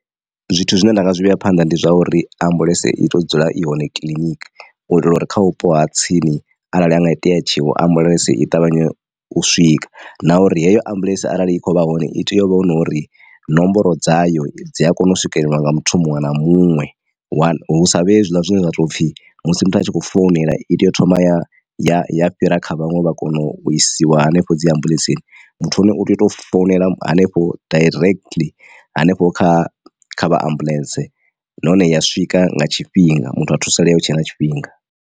Zwithu zwine nda nga zwi vhea phanḓa ndi zwa uri ambuḽentse i to dzula i hone kiḽiniki u itela uri kha vhupo ha tsini arali ha nga itea tshiwo ambuḽentse i ṱavhanye u swika. Na uri heyo ambuḽentse arali i kho vha hone i tea uvha hu nori nomboro dzayo dzi a kona u swikelelwa nga muthu muṅwe na muṅwe hu sa vhe hezwiḽa zwine zwa tou pfhi musi muthu a tshi khou founela i tea u thoma ya ya ya fhira kha vhaṅwe vha kona u isiwa hanefho dzi ambuḽentseni. Muthu hone u tea u tou founela hanefho directly hanefho kha kha vha ambuḽentse nahone ya swika nga tshifhinga muthu a thusalea hu tshe na tshifhinga.